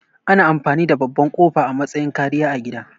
Ana amfani da babban ƙofa a matsayin kariya a gida